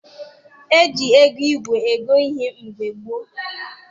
E ji ego igwe ego ihe mgbe gboo.